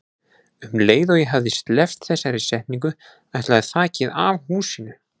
Um leið og ég hafði sleppt þessari setningu ætlaði þakið af húsinu.